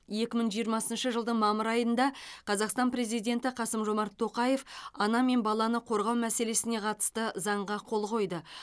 екі мың жиырмасыншы жылдың мамыр айында қазақстан президенті қасым жомарт тоқаев ана мен баланы қорғау мәселесіне қатысты заңға қол қойды